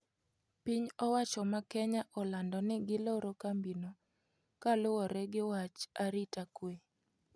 Piny owacho ma Kenya olando ni giloro kambino kaluwore gi wach arita kwe.